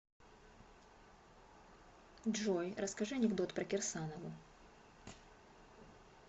джой расскажи анекдот про кирсанову